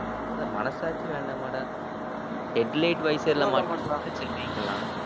ஏன்டா மனசாட்சி வேண்டாமாடா? headlight visor ல மாட்டலாம்னா சரிங்கலாம்.